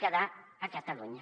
quedar a catalunya